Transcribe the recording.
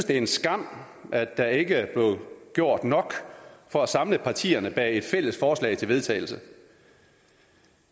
en skam at der ikke blev gjort nok for at samle partierne bag et fælles forslag til vedtagelse